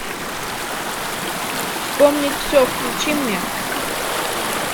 вспомнить все включи мне